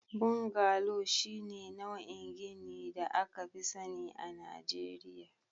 Bungalow shine nau'in ginin da aka fi sani a Najeriya